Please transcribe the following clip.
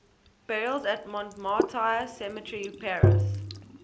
burials at montmartre cemetery paris